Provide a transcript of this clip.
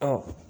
Ɔ